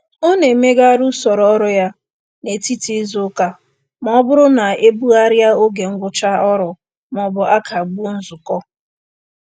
Ọ na-emezigharị usoro ọrụ ya n'etiti izuụka ma ọ bụrụ na e bugharịa oge ngwụcha ọrụ maọbụ a kagbuo nzukọ.